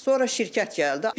Sonra şirkət gəldi.